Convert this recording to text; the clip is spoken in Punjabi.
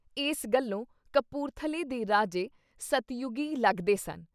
ਇਸ ਗੱਲੋਂ ਕਪੁਰਥਲੇ ਦੇ ਰਾਜੇ ਸਤਿਯੁਗੀ ਲੱਗਦੇ ਸਨ।